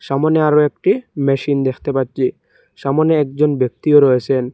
সামনে আরও একটি মেশিন দেখতে পাচ্ছি সামনে একজন ব্যক্তিও রয়েসেন।